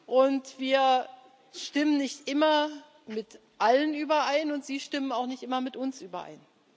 Und wir stimmen nicht immer mit allen überein, und sie stimmen auch nicht immer mit uns überein.